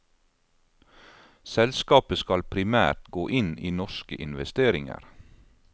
Selskapet skal primært gå inn i norske investeringer.